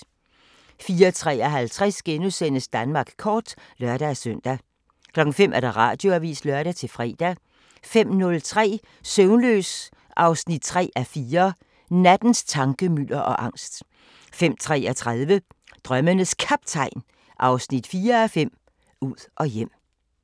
04:53: Danmark kort *(lør-søn) 05:00: Radioavisen (lør-fre) 05:03: Søvnløs 3:4 – Nattens tankemylder og angst 05:33: Drømmenes Kaptajn 4:5 – Ud og hjem